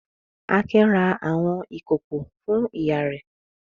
Akin ra àwọn ìkòkò fún ìyá rẹ̀.